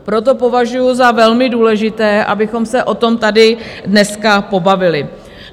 Proto považuji za velmi důležité, abychom se o tom tady dneska pobavili.